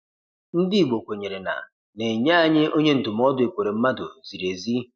Ndị Igbo kwenyere na ‘na-enye anyị onye ndụmọdụ Ekweremadu ziri ezi